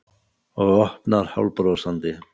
Og opnar hálfbrosandi.